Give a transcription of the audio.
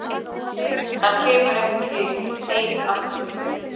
Hann kemur ekki heim aftur.